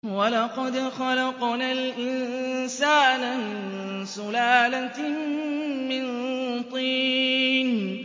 وَلَقَدْ خَلَقْنَا الْإِنسَانَ مِن سُلَالَةٍ مِّن طِينٍ